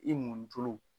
I mɔn tulu